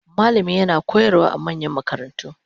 Malami yana koyarwa a manyan makarantu